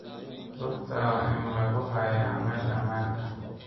Rugta waa in lagu hayaa meel ammaan ah.